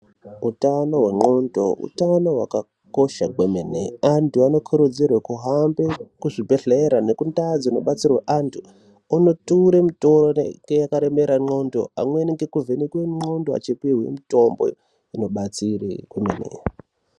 Utano hwengqondo, utano hwakakosha kwemene. Antu anokurudzirwe kuhambe kuzvibhedhlera nekundau dzinobatsirwe antu, onoture mitoro yakaremera ngqondo, amweni nekuvhenekwe ngqondo achipihwe mitombo inobatsire kwemene.